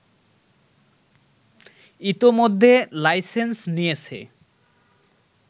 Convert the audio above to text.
ইতোমধ্যে লাইসেন্স নিয়েছে